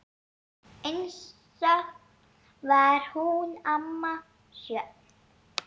Einstök var hún amma Sjöfn.